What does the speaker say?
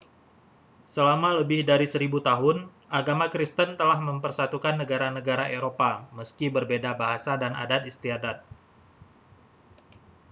selama lebih dari seribu tahun agama kristen telah mempersatukan negara-negara eropa meski berbeda bahasa dan adat istiadat